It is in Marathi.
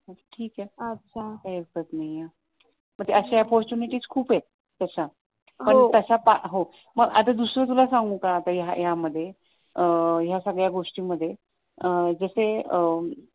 ठीक आहे काही हरकत नाहीये अशा opportunities खूप आहेत तशा तसं पण आता दुसरं तुला सांगू का यामध्ये अं या सगळ्या गोष्टींमध्ये म्हणजे अं जसे अं